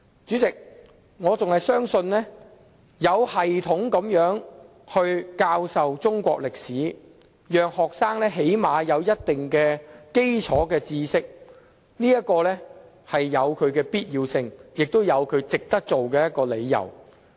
主席，我仍然相信有系統地教授中國歷史，讓學生最少有一定的基礎知識，有其必要性，也有值得推行的理由。